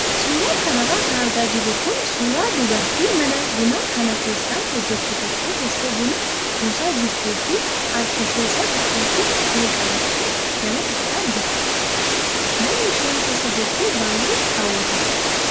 Suuraa kanarra kan argaa jirru kun suuraa dubartii mana bunaa kana keessa hojjattu tokko teessee buna buusaa jirtuu fi harka ishee isa tokkotti siinii qabattee namatti hiixataa jirtudha. Manni isheen keessa jirtu baay'ee hawwataadha.